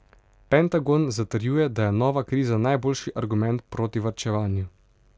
Pentagon zatrjuje, da je nova kriza najboljši argument proti varčevanju.